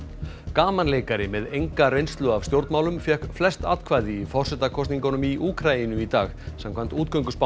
gamanleikari með enga reynslu af stjórnmálum fékk flest atkvæði í forsetakosningum í Úkraínu í dag samkvæmt